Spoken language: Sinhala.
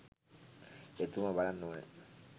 එතුමා බලන්න ඕනැ.